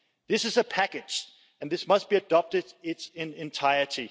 This is a package and this must be adopted in its entirety.